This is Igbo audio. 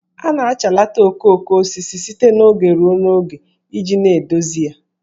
A na-achalata okooko osisi site n'oge ruo n'oge iji na-edozi ya